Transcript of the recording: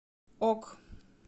ок